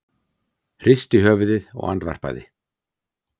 Hristi höfuðið og andvarpaði.